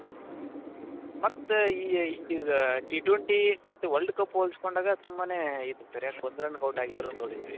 ಮತ್ತೆ ಈ T twenty ಮತ್ತೆ world cup ಹೊಲ್ಸ್ಕೊಂಡಾಗ ತುಂಬಾನೇ ಯಾಕ್ ಒಂದ್ run ಗೂ out ಆಗಿರೋದ್ ನೋಡಿದೀವಿ